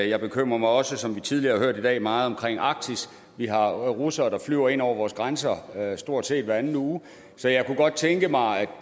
jeg bekymrer mig også som vi tidligere har hørt i dag meget om arktis vi har russere der flyver ind over vores grænser stort set hver anden uge så jeg kunne godt tænke mig